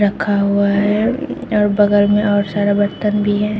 रखा हुआ है और बगल में और सारा बर्तन भी है।